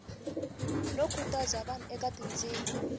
no khutaza vanhu eka tindzimi